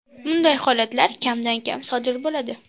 Bunday holatlar kamdan kam sodir bo‘ladi.